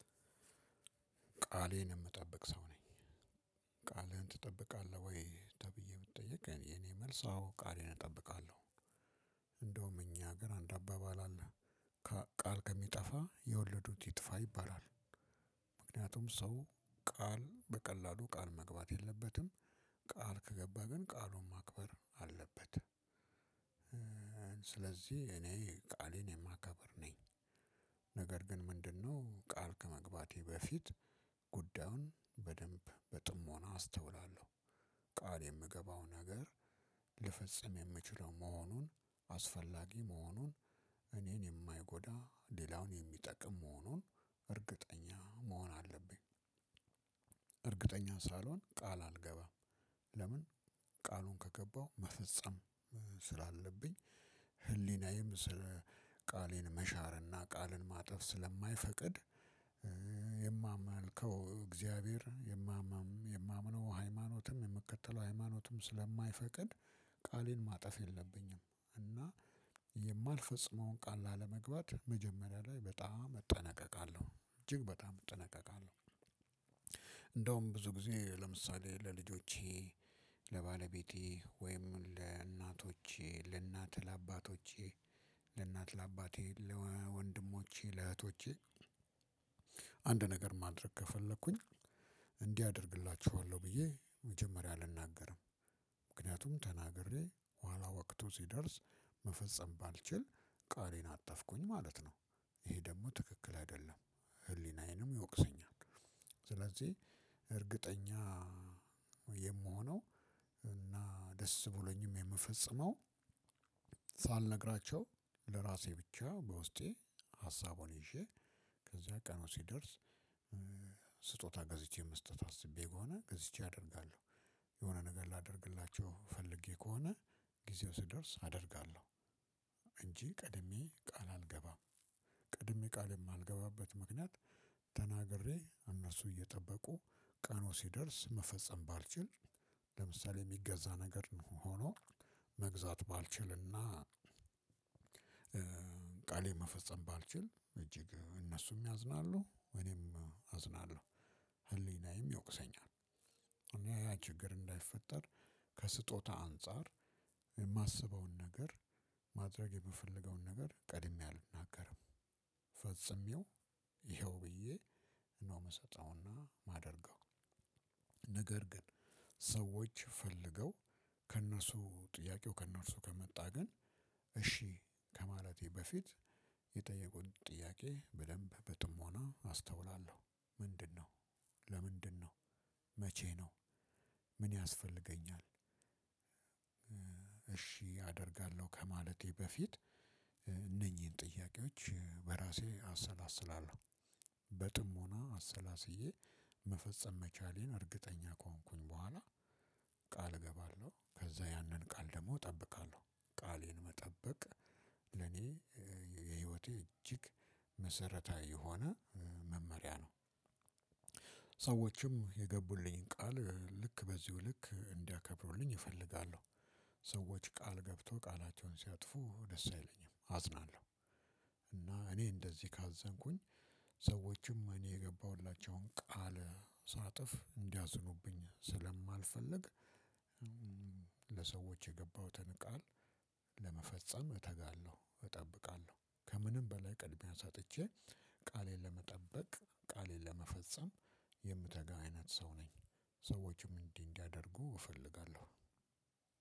ቃሌን የምጠብቅ ሰው ነኝ። ቃልህን ትጠብቃለህ ወይ ተብዬ ብትጠይቅ? እኔ የእኔ መልስ አዎ ቃሌን እጠብቃለሁ። እንደውም እኛ ሀገር አንድ አባባል አለ። ቃል ከሚጠፋ የወለዱት ይጥፋ ይባላል። ምክንያቱም ሰው ቃል በቀላሉ ቃል መግባት የለበትም። ቃል ከገባ ግን ቃሉን ማክበር አለበት። ስለዚህ እኔ ቃሌን የማከብር ነኝ። ነገር ግን ምንድነው ቃል ከመግባቴ በፊት ጉዳዩን በደንብ በጥሞና አስተውላለሁ። ቃል የምገባው ነገር ልፈጽም የምችለው መሆኑን፣ አስፈላጊ መሆኑን፣ እኔን የማይጎዳ ሌላውን የሚጠቅም መሆኑን እርግጠኛ መሆን አለብኝ። እርግጠኛ ሳልሆን ቃል አልገባም። ለምን? ቃሉን ከገባው መፈጸም ስላለብኝ ህሊናዬም ስለ ቃሌን መሻርና ቃልን ማጠፍ ስለማይፈቅድ። የማመልከው እግዚአብሔር የማምነው ሃይማኖትም የምትከተለው ሃይማኖትም ስለማይፈቅድ ቃሌን ማጠፍ የለብኝም። እና የማልፈጽመውን ቃል ላለመግባት መጀመሪያ ላይ በጣም እጠነቀቃለሁ እጅግ በጣም እጠነቀቃለሁ። እንደውም ብዙ ጊዜ ለምሳሌ ለልጆቼ፣ ለባለቤቴ ወይም ለእናቶቼ ለእናት ለአባቶቼ ለእናት ለአባቴ፣ ለወንድሞቼ፣ ለእህቶቼ። አንድ ነገር ማድረግ ከፈለኩኝ እንዲህ አደርግላችኋለሁ ብዬ መጀመሪያ አልናገርም። ምክንያቱም ተናግሬ ኋላ ወቅቱ ሲደርስ መፈጸም ባልችል ቃሌን አጠፍኩኝ ማለት ነው። ይሄ ደግሞ ትክክል አይደለም ህሊናዬንም ይወቅሰኛል። ስለዚህ እርግጠኛ የምሆነው እና ደስ ብሎኝም የምፈጽመው ሳልነግራቸው ለእራሴ ብቻ በውስጤ ሀሳቡን ይዤ ከዚያ ቀኑ ሲደርስ ገዝቼ መስጠት አስቤ ከሆነ ገዝቼ አደርጋለሁ። የሆነ ነገር ላደርግላቸው ፈልጌ ከሆነ ጊዜው ሲደርስ አደርጋለሁ። እንጂ ቀድሜ ቃል አልገባም። ቀድሜ ቃል የማልገባበት ምክንያት ተናግሬ እነሱ እየጠበቁ ቀኑ ሲደርስ መፈጸም ባልችል ለምሳሌ የሚገዛ ነገር ሆኖ መግዛት ባልችልና። ቃሌ መፈጸም ባልችል እጅግ እነሱም ያዝናሉ እኔም አዝናለሁ ህሊናዬም ይወቅሰኛል። እኔ ያ ችግር እንዳይፈጠር ከስጦታ አንፃር የማስበውን ነገር ማድረግ የምፈልገውን ነገር ቀድሜ አልናገርም። ፈፅሜው ይኸው ብዬ ነው የምሰጠውና የማደርገው። ነገር ግን ሰዎች ፈልገው ከእነሱ ጥያቄው ከእነርሱ ከመጣ ግን። እሺ ከማለቴ በፊት የጠየቁኝ ጥያቄ በደንብ በጥሞና አስተውላለሁ ምንድነው፣ ለምንድነው፣ መቼ ነው፣ ምን ያስፈልገኛል? አደርጋለሁ ከማለቴ በፊት እነኚህን ጥያቄዎች በራሴ አሰላስላለሁ። በጥሞና አሰላስዬ መፈጸም መቻሌን እርግጠኛ ከሆንኩኝ በኋላ ቃል እገባለሁ ከዛ ያንን ቃል ደግሞ እጠብቃለሁ። ቃሌን መጠበቅ ለኔ የህይወቴ እጅግ መሰረታዊ የሆነ መመሪያ ነው። ሰዎችም የገቡልኝ ቃል ልክ በዚሁ ልክ እንዲያከብሩልኝ እፈልጋለሁ። ሰዎች ቃል ገብቶ ቃላቸውን ሲያጥፉ ደስ አይለኝም አዝናለሁ። እና እኔ እንደዚህ ካዘንኩኝ ሰዎችም እኔ የገባሁላቸውን ቃል ሳጥፍ እንዲያዝኑብኝ ስለማልፈልግ። ለሰዎች የገባሁትን ቃል ለመፈጸም እተጋለሁ እጠብቃለሁ ከምንም በላይ ቅድሚያ ሰጥቼ ቃሌን ለመጠበቅ ቃሌን ለመፈጸም የምተጋ አይነት ሰው ነኝ። ሰዎችም እንዲህ እንዲያደርጉ እፈልጋለሁ።